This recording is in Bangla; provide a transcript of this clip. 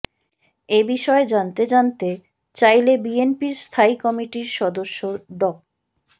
এ বিষয়ে জানতে জানতে চাইলে বিএনপির স্থায়ী কমিটির সদস্য ড